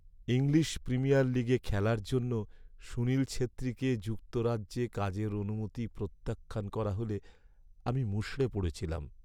English Premier লিগে খেলার জন্য সুনীল ছেত্রীকে যুক্তরাজ্যে কাজের অনুমতি প্রত্যাখ্যান করা হলে আমি মুষড়ে পড়েছিলাম।